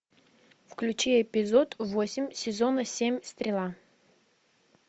включи эпизод восемь сезона семь стрела